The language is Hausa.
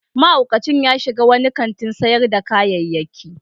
Mahaukacin ya shiga wani kantin sayar da kayayyaki.